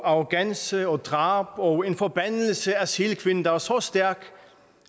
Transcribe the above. arrogance og drab og en forbandelse af sælkvinden der er så stærk